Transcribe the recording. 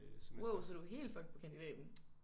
Wow så du er helt fucked på kandidaten?